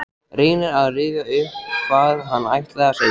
Reynir að rifja upp hvað hann ætlaði að segja.